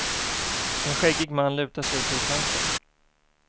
En skäggig man lutar sig ut ur ett fönster.